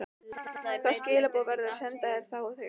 Hvaða skilaboð verður að senda þá og þegar?